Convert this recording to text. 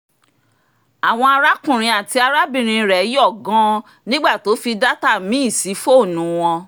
àwọn arákùnrin àti arábìnrin rẹ̀ yọ̀ gan-an nígbà tó fi data míì sí fọ́ọ̀nù wọn